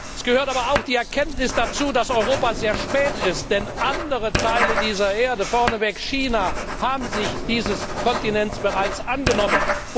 Es gehört aber auch die Erkenntnis dazu, dass Europa sehr spät dran ist, denn andere Teile dieser Erde vorneweg China haben sich dieses Kontinents bereits angenommen.